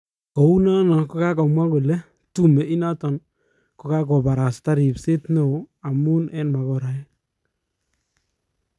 Koun nana kokamwa kole tume inaton kokakoparasta rpset neo amun eng makoraek